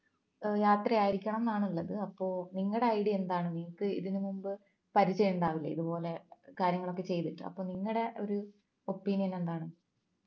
യാത്രയായിരിക്കണം ന്നാണുള്ളത് അപ്പോൾ നിങ്ങടെ idea എന്താണ് നിങ്ങക്ക് ഇതിനുമുമ്പ് പരിചയണ്ടാവില്ലേ ഇതുപോലെ കാര്യങ്ങളൊക്കെ ചെയ്തിട്ട് അപ്പൊ നിങ്ങളുടെ ഒരു opinion എന്താണ്